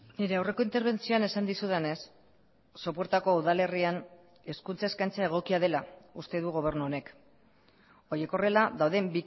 nire aurreko interbentzioan esan dizudanez sopuertako udalerrian hezkuntza eskaintza egokia dela uste du gobernu honek horiek horrela dauden